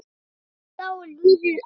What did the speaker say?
Síðan þá er liðið ár.